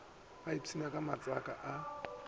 ba iphsinne ka matsaka a